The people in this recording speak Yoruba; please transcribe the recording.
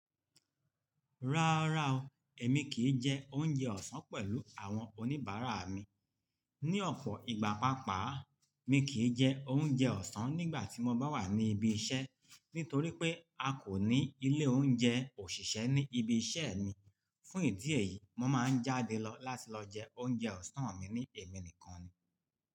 Rárá o, èmi kì í jẹ oúnjẹ ọ̀sán pẹ̀lú àwọn oníbàárà mi. Ní ọ̀pọ̀ ìgbà paapaa, mi kì í jẹ oúnjẹ ọ̀sán nígbà tí mo bá wà ní ibi iṣẹ́, nítorí pé a kò ní ilé oúnjẹ òṣìṣẹ́ ní ibi iṣẹ́ mi. Fún ìdí èyí, mo máa ń jáde láti lọ jẹ oúnjẹ ọ̀sán mi ní èmi nìkan ni.